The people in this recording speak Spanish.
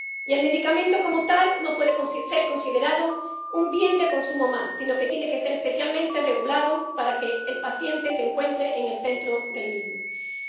El medicamento, como tal, no puede ser considerado un bien de consumo más, sino que tiene que ser especialmente regulado para que el paciente se encuentre en el centro del acceso al mismo.